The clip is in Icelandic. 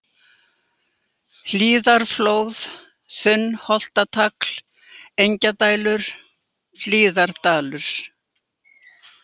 Hlíðarflóð, Þunnholtatagl, Engjadælur, Hlíðardalur